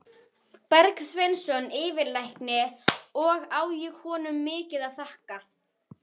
Bergsveinsson yfirlækni og á ég honum mikið að þakka.